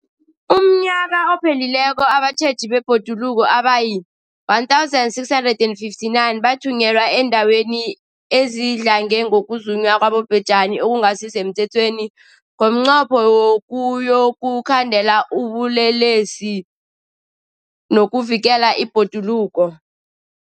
UmNnyaka ophelileko abatjheji bebhoduluko abayi-1 659 bathunyelwa eendaweni ezidlange ngokuzunywa kwabobhejani okungasi semthethweni ngomnqopho wokuyokukhandela ubulelesobu nokuvikela ibhoduluko.